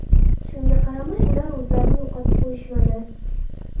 Shunga qaramay, ular o‘zlarini yo‘qotib qo‘yishmadi.